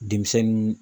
Denmisɛnnu